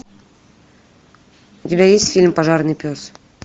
у тебя есть фильм пожарный пес